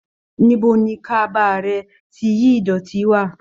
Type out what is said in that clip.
Níbo ni kaba rẹ ti yìí idọti wà?